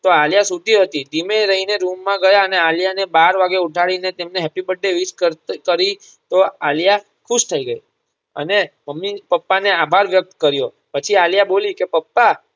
તો આલિયા સૂતી હતી ધીમે રહી ને રૂમ માં ગયા અને આલિયા ને બાર વાગે ઉઠાડી ને તેમને happy birthday wish કરતાં કરી તો આલિયા ખુશ થઈ ગઈ અને મમ્મી પપ્પા ને આભાર વ્યક્ત કર્યો પછી આલિયા બોલી કે પપ્પા